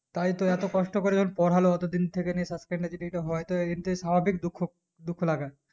তাই তো এতো কষ্ট করে যেকোন পোড়ালো ওতো দিন থেকে নিয়ে যদি ইটা হয় তো এটাই স্বাভাবিক দুঃখ দুঃখ লাগা